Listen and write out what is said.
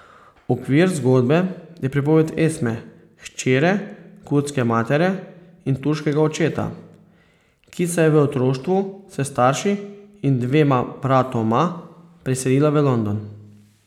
Okvir zgodbe je pripoved Esme, hčere kurdske matere in turškega očeta, ki se je v otroštvu s starši in dvema bratoma priselila v London.